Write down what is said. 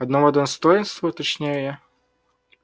одного достоинства уточняю я